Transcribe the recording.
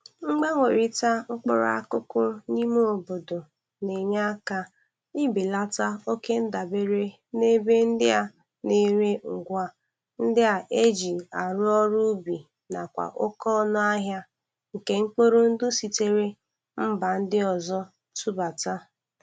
Mgbanwerịta mkpụrụ akụkụ n'ime obodo na-enye aka ibelata okendabere n'ebe ndị ana-ere ngwa ndị a e ji arụ ọrụ ubi nakwa oke ọnụ ahia nke mkpụrụ ndị e sitere mba ndị ọzọ tụbata.